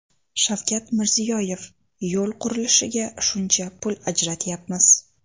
Shavkat Mirziyoyev: Yo‘l qurilishiga shuncha pul ajratyapmiz.